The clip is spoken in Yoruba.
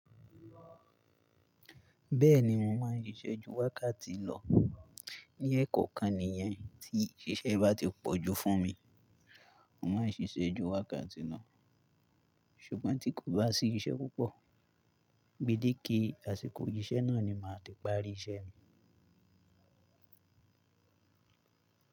Bẹ́ẹ̀ni mo máa ń ṣiṣẹ́ ju wákàtí lọ. Ní ẹ̀ kọ́kan nìyẹn tí iṣẹ́ bá ti pọ̀ ju fún mi, mo máa ń ṣiṣẹ́ ju wákàtí lo. Ṣùgbọ́n tí kò bá sí iṣẹ́ púpọ̀, gbidé kí àsìkò iṣẹ́ náà ni màá ti parí iṣẹ́ mi.